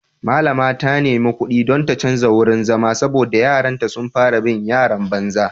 Mallama ta nemi kudi don ta canja wurin zama saboda yaranta sun fara bin yaran banza.